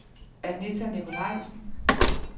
Anita Nicolajsen